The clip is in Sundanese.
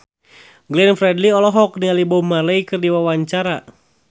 Glenn Fredly olohok ningali Bob Marley keur diwawancara